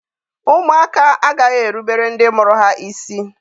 Ụmụaka agaghị erubere ndị mụrụ ha isi.